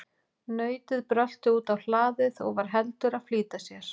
Nautið brölti út á hlaðið og var heldur að flýta sér.